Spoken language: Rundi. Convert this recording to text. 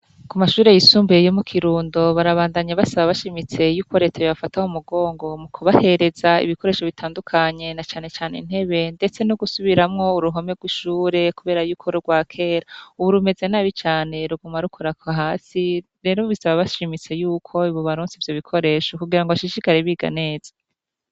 Ku mashure yisumbuye yo mu kirundo barabandanya basaba bashimitse yuko retaye bafataho umugongo mu kubahereza ibikoresho bitandukanye na canecane intebe, ndetse no gusubiramwo uruhome rw'ishure, kubera yuko rwa kera, ubu rumeze n'abicane ruguma rukura ku hasi rero bisaba bashimitse yuko ibubaronsi vyo bikoresho kugira ngo bashishikara bike ganeza.